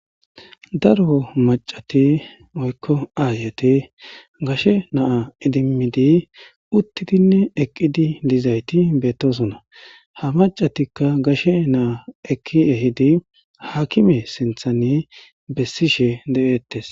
daro macati woykko aayete gashe na'a idimmidi uttidinne eqqidi dizayti beettosona ha macatikka gashe naa ekki ehidi hakime sinthane bessishe de'ettes